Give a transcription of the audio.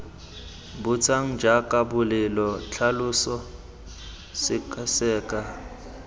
botsang jaaka bolela tlhalosa sekaseka